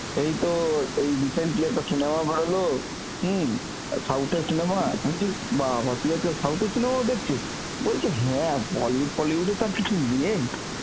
এইতো এই recently একটা cinema বেরোলো হম, south এর cinema. আমি বলছি বাবাঃ তুই আজকাল south এর cinema ও দেখছিস? বলছে হ্যাঁ Bollywood ফলিউডে তো আর কিছু নেই